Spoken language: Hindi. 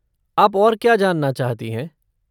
आप और क्या जानना चाहती हैं?